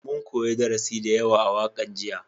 Mun koya darasi da yawa a wakan jiya